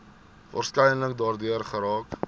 waarskynlik daardeur geraak